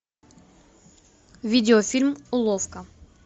видеофильм уловка